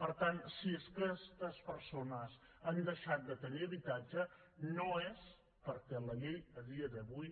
per tant si aquestes persones han deixat de tenir habitatge no és perquè la llei a dia d’avui